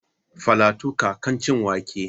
Falatu ka kan ci wake?